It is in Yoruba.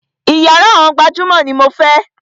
Iyàrá àwọn gbajúmọ̀ ní mo fẹ́!